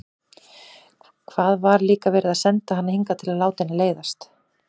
Hvað var líka verið að senda hana hingað til að láta henni leiðast?